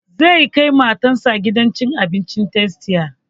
Zai kai matar sa gidan cin abincin tastia